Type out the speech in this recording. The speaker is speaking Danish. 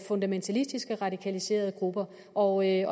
fundamentalistiske radikaliserede grupper og jeg